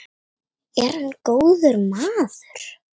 Er hann góður maður?